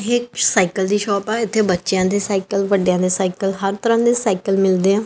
ਇਕ ਸਾਈਕਲ ਦੀ ਸ਼ੋਪ ਆ ਇਥੇ ਬੱਚਿਆਂ ਦੇ ਸਾਈਕਲ ਵੱਡਿਆਂ ਦੇ ਸਾਈਕਲ ਹਰ ਤਰਾ ਦੇ ਸਾਈਕਲ ਮਿਲਦੇ ਆ।